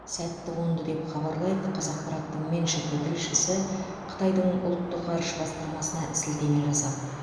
сәтті қонды деп хабарлайды қазақпараттың меншіктің тілшісі қытайдың ұлттық ғарыш басқармасына сілтеме жасап